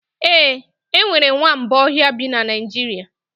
Ee, enwere nwamba ọhịa bi na Naịjirịa